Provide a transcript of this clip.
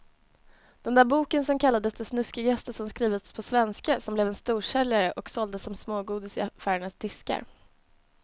Den där boken som kallades det snuskigaste som skrivits på svenska och som blev en storsäljare och såldes som smågodis i affärernas diskar.